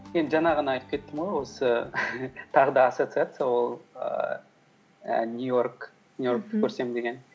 мен жаңа ғана айтып кеттім ғой осы тағы да ассоциация ол ііі нью йоркты көрсем деген